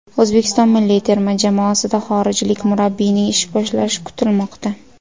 O‘zbekiston milliy terma jamoasida xorijlik murabbiyning ish boshlashi kutilmoqda.